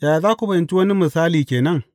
Yaya za ku fahimci wani misali ke nan?